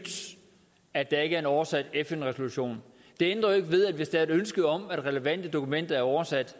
at der ikke er en oversat fn resolution det ændrer jo ikke ved hvis der er et ønske om at relevante dokumenter er oversat